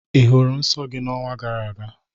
Ị hụrụ nsọ gị n'ọnwa gara aga?